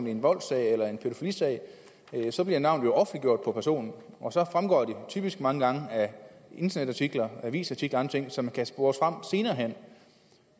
i en voldssag eller en pædofilisag bliver navnet offentliggjort på personen og så fremgår det typisk mange gange af internetartikler avisartikler og andre ting som kan spores senere hen